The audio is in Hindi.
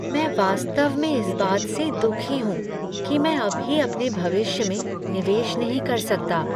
मैं वास्तव में इस बात से दुखी हूँ कि मैं अभी अपने भविष्य में निवेश नहीं कर सकता।